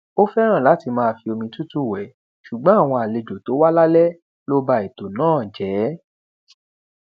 ó fẹràn láti máa fi omi tútù wẹ ṣùgbọn àwọn àlejò tó wá lálẹ ló ba ètò náà jẹ